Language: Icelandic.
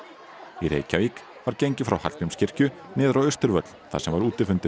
í Reykjavík var gengið frá Hallgrímskirkju niður á Austurvöll þar sem var útifundur